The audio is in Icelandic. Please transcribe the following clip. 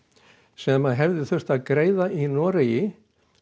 sem að hefði þurft að greiða í Noregi